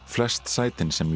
flest sætin sem